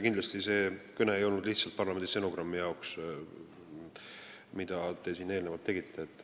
Kindlasti ei olnud need kõned, mida te siin eelnevalt pidasite, mõeldud lihtsalt parlamendi stenogrammi jaoks.